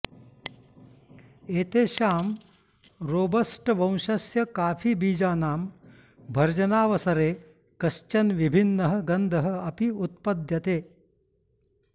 एतेषां रोबस्टवंशस्य काफीबीजानां भर्जनावसरे कश्चन विभिन्नः गन्धः अपि उत्पद्यते